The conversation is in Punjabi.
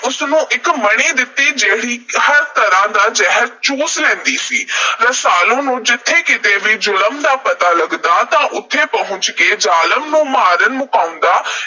ਉਸ ਨੂੰ ਇਕ ਮਣੀ ਦਿੱਤੀ, ਜਿਹੜੀ ਹਰ ਤਰ੍ਹਾਂ ਦਾ ਜ਼ਹਿਰ ਚੂਸ ਲੈਂਦੀ ਸੀ। ਰਸਾਲੂ ਨੂੰ ਜਿੱਥੇ ਕਿਤੇ ਵੀ ਜ਼ੁਲਮ ਦਾ ਪਤਾ ਲਗਦਾ ਤਾਂ ਉੱਥੇ ਪਹੁੰਚ ਕੇ ਜ਼ਾਲਮ ਨੂੰ ਮਾਰ ਮੁਕਾਉਂਦਾ।